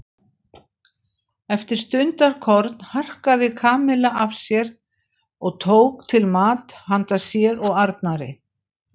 Eftir stundarkorn harkaði Kamilla af sér og tók til mat handa sér og Arnari.